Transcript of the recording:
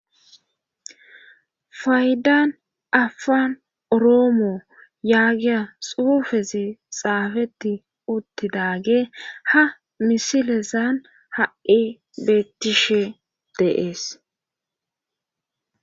faydan afan oroomo yaagiya xuufezi xaafeti uttidage ha misilezan ha'i beettishe de'ees